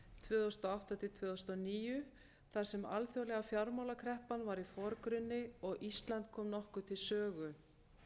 tvö þúsund og átta til tvö þúsund og níu þar sem alþjóðlega fjármálakreppan var í forgrunni og ísland kom nokkuð til sögu